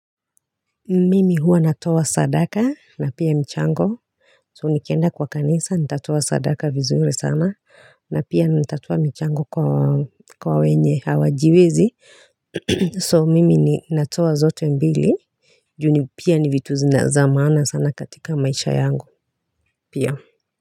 Mimi huwa natoa sadaka na pia mchango so nikienda kwa kanisa nitatoa sadaka vizuri sana na pia natatoa mchango kwa wenye hawajiwezi so mimi natoa zote mbili juu ni pia ni vitu zinazamana sana katika maisha yangu pia.